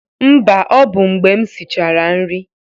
Mba, ọ bụ mgbe m sichara nri